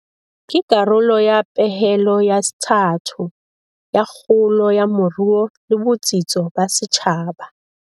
Ke karolo ya pehelo ya sethathu ya kgolo ya moruo le botsitso ba setjhaba.